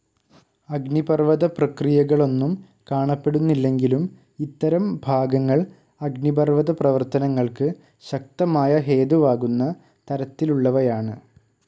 അഗ്നിപർവ്വത പ്രക്രിയകളൊന്നും കാണപ്പെടുന്നില്ലെങ്കിലും ഇത്തരം ഭാഗങ്ങൾ അഗ്നിപർവ്വത പ്രവർത്തനങ്ങൾക്ക് ശക്തമായ ഹേതുവാകുന്ന തരത്തിലുള്ളവയാണ്‌.